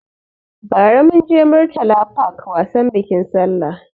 Ba ra munje Murtala park wasan bikin sallah